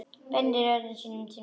Beinir orðum sínum til mín.